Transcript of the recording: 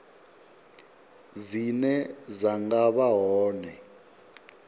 dzine dza nga vha hone